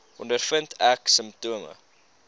ondervind ek simptome